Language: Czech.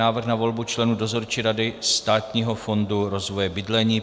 Návrh na volbu členů Dozorčí rady Státního fondu rozvoje bydlení